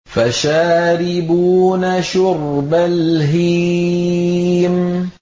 فَشَارِبُونَ شُرْبَ الْهِيمِ